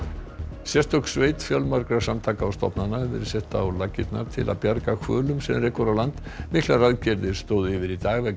sérstök sveit fjölmargra samtaka og stofnana hefur verið sett á laggirnar til að bjarga hvölum sem rekur á land miklar aðgerðir stóðu yfir í dag vegna